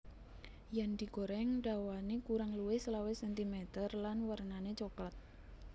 Yen digoreng dhawane kurang luwih selawe centimeter lan wernane cokelat